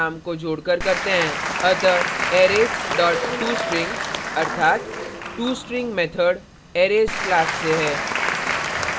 अतः arrays dot tostring अर्थात tostring method arrays class से है